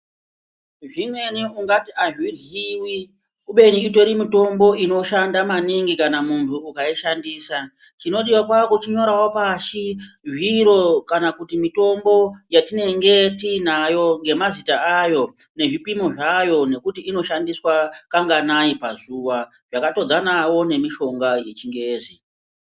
Zvimweni ungati hazviryivi kubeni itori mitombo inoshanda maningi kana muntu ukaishandisa. Chinodiva kwakuchinyoravo pashi zviro kana kuti mitombo yatinenge tinayo ngemazita ayo nezvipimo zvayo. Nekuti inoshandiswa kanganai pazuva zvakatodzanavo nemishonga yechingezi.